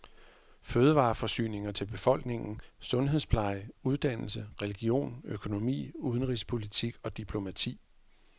Fødevareforsyninger til befolkningen, sundhedspleje, uddannelse, religion, økonomi, udenrigspolitik og diplomati.